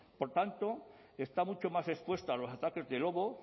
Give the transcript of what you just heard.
por tanto está mucho más expuesta a los ataques de lobo